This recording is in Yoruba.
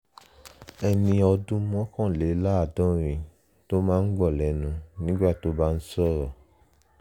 ẹni ọdún mọ́kànléláàádọ́rin tó máa ń gbọ̀n lẹ́nu nígbà tó bá ń sọ̀rọ̀